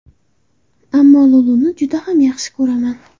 Ammo Luluni juda ham yaxshi ko‘raman”.